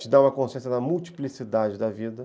Te dá uma consciência da multiplicidade da vida.